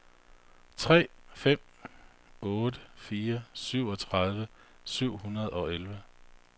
tre fem otte fire syvogtredive syv hundrede og elleve